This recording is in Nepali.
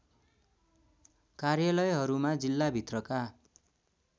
कार्यालयहरूमा जिल्लाभित्रका